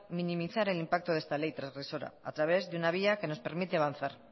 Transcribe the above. minimizar el impacto de esta ley transgresora a través de una vía que nos permite avanzar